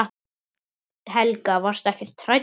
Helga: Varstu ekkert hræddur?